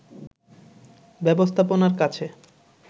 ব্যবস্থাপনার কাছে